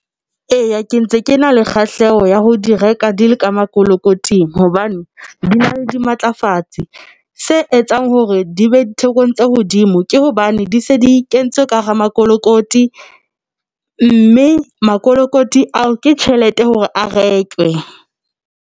Eya, ke ntse ke na le kgahleho ya ho di reka di le ka mokolokoting hobane di na le dimatlafatsi se etsang hore di be ditekong tsa hodimo ke hobane di se di kentswe ka hara mokolokoti mme mokolokoti ao ke tjhelete hore a re rekwe.